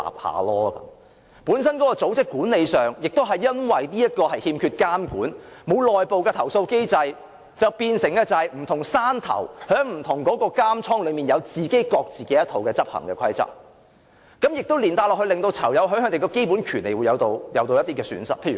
由於組織管理本身欠缺監管，不設內部投訴機制，變成有不同"山頭"在不同監倉內有各自一套執行的規則，連帶令到囚友的基本權利受損。